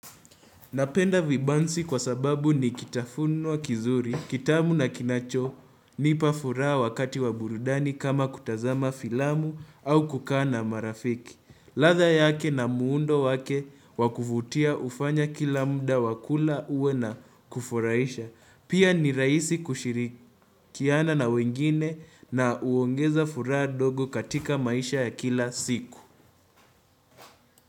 Napenda vibanzi kwa sababu ni kitafuno kizuri, kitamu na kinacho, nipa furaha wakati wa burudani kama kutazama filamu au kukaa na marafiki. Ladha yake na muundo wake wakuvutia hufanya kila muda wa kula uwe na kufurahisha. Pia ni raisi kushirikiana na wengine na huongeza furaha ndogo katika maisha ya kila siku.